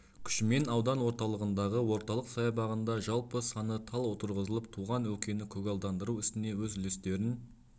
күшімен аудан орталығындағы орталық саябағында жалпы саны тал отырғызылып туған өлкені көгалдандыру ісіне өз үлестерін